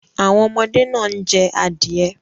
Àwọn ọmọde náà ń jẹ adìẹ.